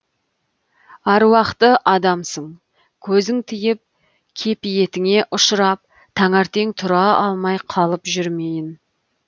аруақты адамсың көзің тиіп кепиетіңе ұшырап таңертең тұра алмай қалып жүрмейін